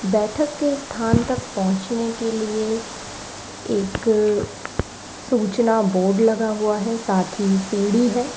बैठक के स्थान तक पहुंचाने के लिए एक सूचना बोर्ड लगा हुआ है साथ ही सीढ़ी है।